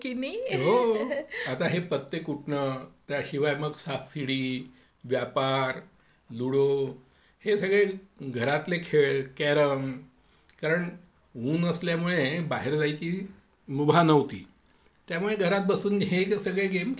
हे पत्ते कुटणं त्याशिवाय साप शिडी, व्यापार, लुडो, कॅरम कारण ऊन असल्यामुळे बाहेर जाण्याची मुभा नव्हती.त्यामुळे घरात बसून हे जे सगळे गेम खेळता यायचे.